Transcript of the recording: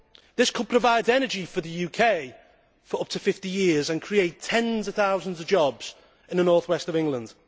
This could provide energy for the UK for up to 50 years and create tens of thousands of jobs in the North West of England.